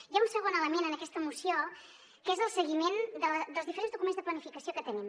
hi ha un segon element en aquesta moció que és el seguiment dels diferents documents de planificació que tenim